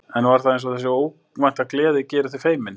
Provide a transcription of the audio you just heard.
En það var eins og þessi óvænta gleði geri þau feimin.